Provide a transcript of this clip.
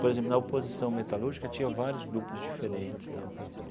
Por exemplo, na oposição metalúrgica tinha vários grupos diferentes e tal.